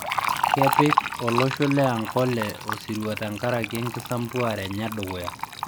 Kepik olosho le Ankole osirua tenkaraki enkisampuare enye edukuya